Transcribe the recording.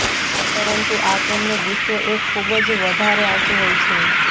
પરંતુ આ તેમણે ગુસ્સો એ ખુબ જ વધારે આવતો હોય છે